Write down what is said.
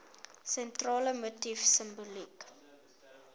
sentrale motief simboliek